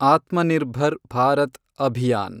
Atmanirbhar Bharat Abhiyan